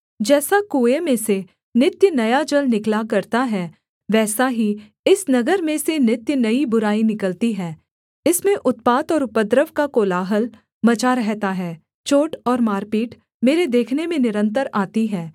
जैसा कुएँ में से नित्य नया जल निकला करता है वैसा ही इस नगर में से नित्य नई बुराई निकलती है इसमें उत्पात और उपद्रव का कोलाहल मचा रहता है चोट और मारपीट मेरे देखने में निरन्तर आती है